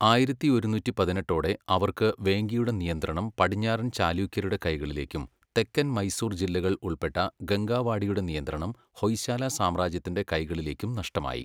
ആയിരത്തിയൊരുന്നൂറ്റി പതിനെട്ടോടെ അവർക്ക് വേംഗിയുടെ നിയന്ത്രണം പടിഞ്ഞാറൻ ചാലൂക്യരുടെ കൈകളിലേക്കും തെക്കൻ മൈസൂർ ജില്ലകൾ ഉൾപ്പെട്ട ഗംഗാവാഡിയുടെ നിയന്ത്രണം ഹൊയ്ശാല സാമ്രാജ്യത്തിൻ്റെ കൈകളിലേക്കും നഷ്ടമായി.